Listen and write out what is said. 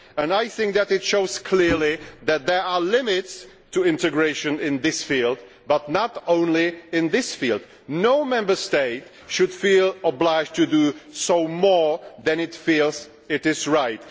I think that it shows clearly that there are limits to integration in this field but not only in this field. No Member State should feel obliged to do more than it feels is right.